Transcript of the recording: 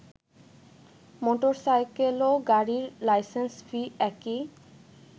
মোটরসাইকেলও গাড়ির licence fee একই